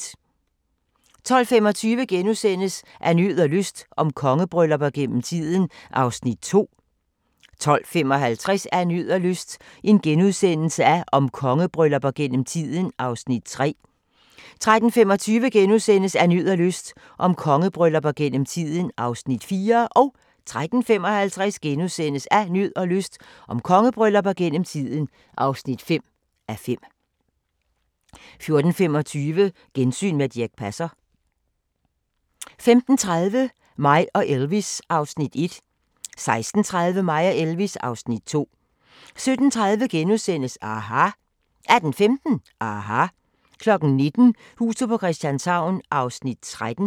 12:25: Af nød og lyst – om kongebryllupper gennem tiden (2:5)* 12:55: Af nød og lyst – om kongebryllupper gennem tiden (3:5)* 13:25: Af nød og lyst – om kongebryllupper gennem tiden (4:5)* 13:55: Af nød og lyst – om kongebryllupper gennem tiden (5:5)* 14:25: Gensyn med Dirch Passer 15:30: Mig og Elvis (Afs. 1) 16:30: Mig og Elvis (Afs. 2) 17:30: aHA! * 18:15: aHA! 19:00: Huset på Christianshavn (13:84)